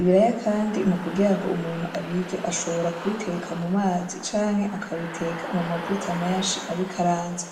ibiraya kandi mu kugira ngo umuntu abirye ashobora kubiteka mu mazi, canke akabiteka mu mavuta menshi abikaranze.